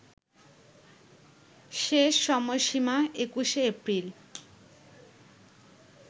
শেষ সময়সীমা ২১শে এপ্রিল